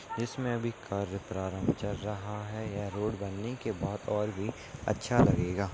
इस मे अभी कार्य प्रारंभ चल रहा है यह रोड बनने के बाद और भी अच्छा लगेगा।